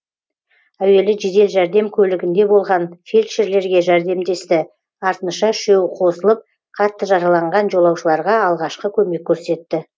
әуелі жедел жәрдем көлігінде болған фельдшерлерге жәрдемдесті артынша үшеуі қосылып қатты жараланған жолаушыларға алғашқы көмек көрсетті